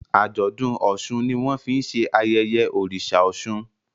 Ajọdun òsùn ní wón fín ṣe ayẹyẹ oriṣa òsun.